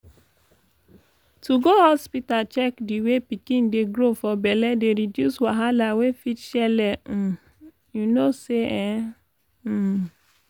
to go hospita check di way pikin dey grow for belle dey reduce wahala wey fit shele emm u no say eh emmm